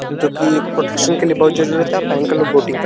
जोकि एक प्रोटेक्शन के लिए बहोत जरुरत आ । पहन के लोग बोटिंग कर --